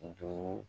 Duuru